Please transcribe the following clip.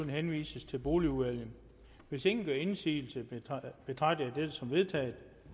henvises til boligudvalget hvis ingen gør indsigelse betragter jeg dette som vedtaget